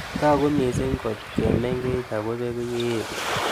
Tag'u mising' kot ke meng'ech ako peku ye etu